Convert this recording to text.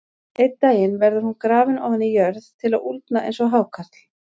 Einn daginn verður hún grafin ofan í jörð til að úldna eins og hákarl.